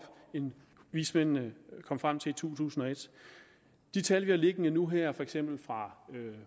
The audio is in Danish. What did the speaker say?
end vismændene kom frem til i to tusind og et de tal vi har liggende nu her for eksempel fra